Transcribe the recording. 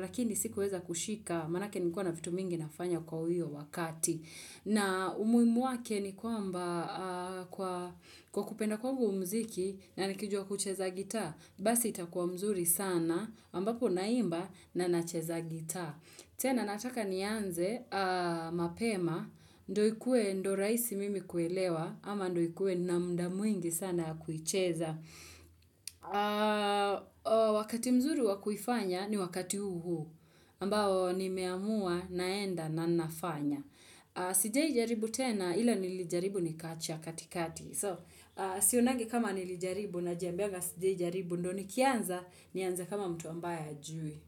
lakini sikuweza kushika, maanake nilikuwa na vitu mingi nafanya kwa huyo wakati. Na umuhimu wake ni kwamba kwa kupenda kwangu mziki na nikijua kucheza gita, basi itakuwa mzuri sana, ambapo naimba na nacheza gita. Tena nataka nianze, mapema, ndo ikue ndo rahisi mimi kuelewa, ama ndo ikue na muda mwingi sana ya kuicheza. Wakati mzuri wa kuifanya ni wakati huu huu, ambao nimeamua naenda na nafanya. Sijai aribu tena, ila nilijaribu na nikachia katikati. So, sionagi kama nilijaribu najambianga sijaijaribu, ndo nikianza, nianze kama mtu ambaye hajui.